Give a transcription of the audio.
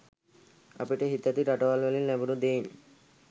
අපිට හිතැති රටවල් වලින් ලැබුන දේන්